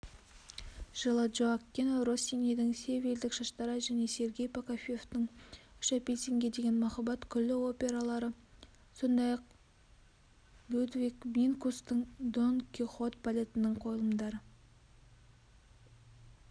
жылы джоаккино россинидің севильдік шаштараз және сергей прокофьевтің үш апельсинге деген махаббат күлкілі опералары сондай-ақ людвиг минкустың дон кихот балетінің қойылымдары